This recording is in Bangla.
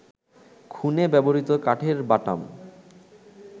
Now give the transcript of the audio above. খুনে ব্যবহৃত কাঠের বাটাম